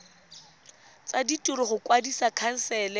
tsa ditiro go kwadisa khansele